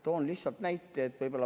Toon lihtsalt ühe näite.